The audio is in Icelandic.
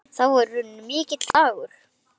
Þá er runninn mikill dagur.